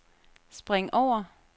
spring over